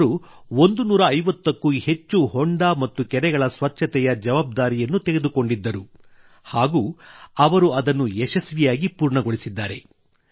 ಅವರು 150ಕ್ಕೂ ಹೆಚ್ಚು ಹೊಂಡ ಮತ್ತು ಕೆರೆಗಳ ಸ್ವಚ್ಛತೆಯ ಜವಾಬ್ದಾರಿಯನ್ನು ತೆಗೆದುಕೊಂಡಿದ್ದರು ಹಾಗೂ ಅವರು ಅದನ್ನು ಯಶಸ್ವಿಯಾಗಿ ಪೂರ್ಣಗೊಳಿಸಿದ್ದಾರೆ